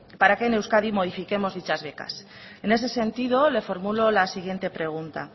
para que en euskadi modifiquemos dichas becas en ese sentido le formulo la siguiente pregunta